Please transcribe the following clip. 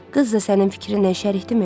Qız da sənin fikrinlə şərikdirmi?